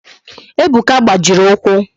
Ebuka gbajiri ụkwụ